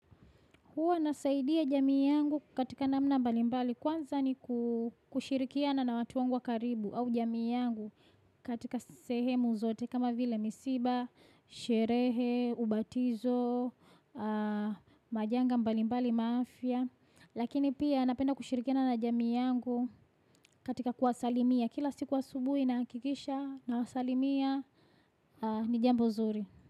Huwa nasaidia jamii yangu katika namna mbali mbali kwanza ni ku kushirikia na na watu wangu wa karibu au jamii yangu katika sehemu zote kama vile misiba, sherehe, ubatizo, majanga mbali mbali mwa afya. Lakini pia napenda kushirikia na na jamii yangu katika kuwasalimia kila siku wa subuhi na kikisha na wasalimia ni jambo nzuri.